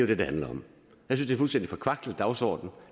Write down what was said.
det det handler om jeg synes er forkvaklet dagsorden